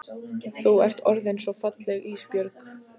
Þú ert orðin svo falleg Ísbjörg.